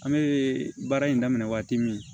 An bɛ baara in daminɛ waati min